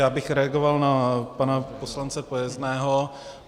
Já bych reagoval na pana poslance Pojezného.